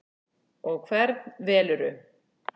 Og hvern velurðu?